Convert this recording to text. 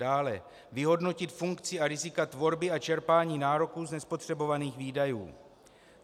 Dále, vyhodnotit funkci a rizika tvorby a čerpání nároků z nespotřebovaných výdajů.